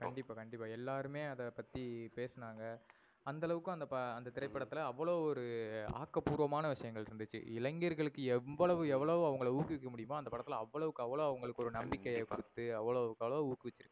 கண்டிப்பா கண்டிப்பா. எல்லாருமே அத பத்தி பேசுனாங்க அந்த அளவுக்கு அந்த திரைப்படத்துல அவ்ளோ ஒரு ஆக்க பூர்வமான விஷயங்கள் இருந்துச்சு. இளைஞர்களுக்கு எவ்வளவு எவ்ளோ அவங்கள ஊக்க வைக்க முடியுமோ அந்த படத்துல அவ்வுளவுக்கு அவ்ளோ அவங்களுக்கு ஒரு நம்பிகையை கொடுத்து அவ்வுளவுக்கு அவ்ளோ ஊக்க வச்சி இருக்காங்க.